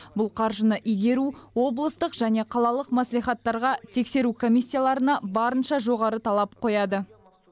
бұл қаржыны игеру облыстық және қалалық мәслихаттарға тексеру комиссияларына барынша жоғары талап қояды